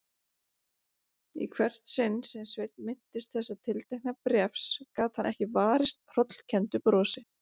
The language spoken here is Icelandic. Í hvert sinn sem Sveinn minntist þessa tiltekna bréfs gat hann ekki varist hrollkenndu brosi.